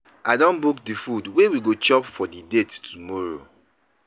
I don book di food wey we go chop for di date tomorrow.